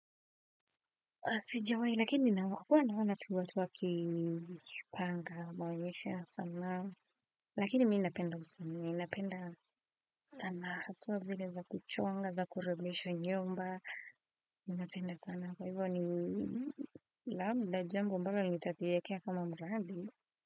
Sijawahi lakini huwa naona tu watu wakipanga maonyesho ya sanaa lakini mi napenda usanii, napenda sanaa haswa zile za kuchonga za kurembesha nyumba ninapenda sana kwa hivo ni labda jambo ambalo nitajiwekea kama mradi.